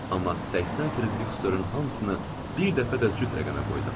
Amma 80 frieriks dörmün hamısını bir dəfə də cüt rəqəmə qoydum.